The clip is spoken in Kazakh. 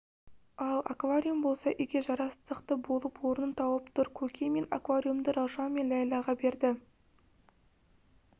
ал аквариум болса үйге жарастықты болып орнын тауып тұр көке мен аквариумды раушан мен ләйләға бердім